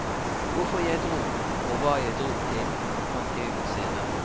Hvorfor jeg dro og hva jeg dro til fant jeg ut senere.